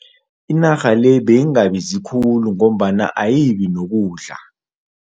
Inarha le beyingabizi khulu ngombana ayibi nokudla.